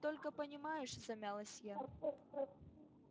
вот только понимаешь замялась я